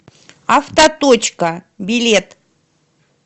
автоточка билет